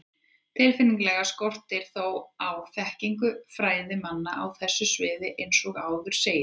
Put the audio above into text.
Tilfinnanlega skortir þó á þekkingu fræðimanna á þessu sviði eins og áður segir.